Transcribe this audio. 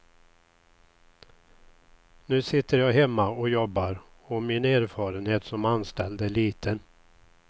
Nu sitter jag hemma och jobbar och min erfarenhet som anställd är liten.